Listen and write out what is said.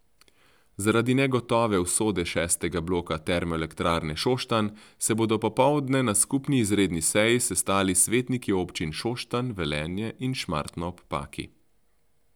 Zaradi negotove usode šestega bloka termoelektrarne Šoštanj se bodo popoldne na skupni izredni seji sestali svetniki občin Šoštanj, Velenje in Šmartno ob Paki.